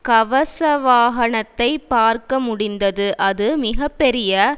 கவசவாகனத்தை பார்க்க முடிந்தது அது மிக பெரிய